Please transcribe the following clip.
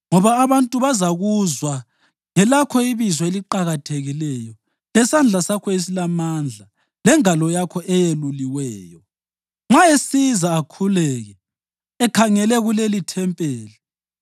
ngoba abantu bazakuzwa ngelakho ibizo eliqakathekileyo lesandla sakho esilamandla lengalo yakho eyeluliweyo, nxa esiza akhuleke ekhangele kulelithempeli,